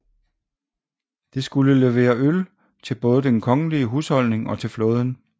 Det skulle levere øl til både den kongelige husholdning og til flåden